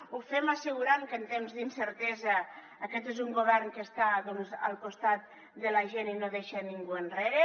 ho fem assegurant que en temps d’incertesa aquest és un govern que està al costat de la gent i no deixa ningú enrere